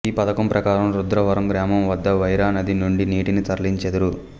ఈ పథకం ప్రకారం రుద్రవరం గ్రామం వద్ద వైరా నది నుండి నీటిని తరలించెదరు